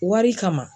Wari kama